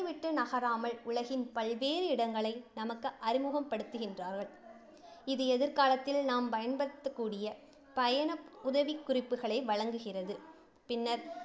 விட்டு நகராமல் உலகின் பல்வேறு இடங்களை நமக்கு அறிமுகம் படுத்துகின்றார்கள். இது எதிர்காலத்தில் நாம் பயன்படுத்தக்கூடிய பயண உதவிக்குறிப்புகளை வழங்குகிறது. பின்னர்,